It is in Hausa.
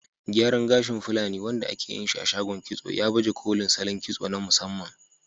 Gyaran gashi na fulani, wanda ake yin shi a shagon kitso, ya baje kolin salon kitso na musamman.